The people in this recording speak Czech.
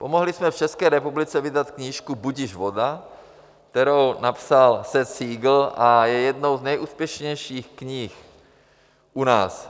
Pomohli jsme v České republice vydat knížku Budiž voda, kterou napsal Seth Siegel a je jednou z nejúspěšnějších knih u nás.